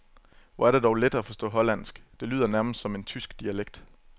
Hvor er det dog let at forstå hollandsk, det lyder nærmest som en tysk dialekt.